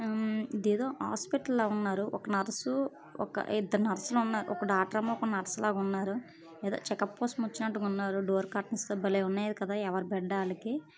హమ్ ఇది ఏదో హాస్పిటల్ లా వున్నారు.ఒక నర్సు ఒక ఇద్దరు నర్సు లు వున్నారు. ఒక డాక్టర్ అమ్మ ఒక నర్సు లా వున్నారు. ఏదో చెకప్ కోసం వచ్చినట్టుగా వున్నారు.డోర్ కటన్స్ బలే ఉన్నాయి. కదా ఎవరి బెడ్ వాళ్లకి.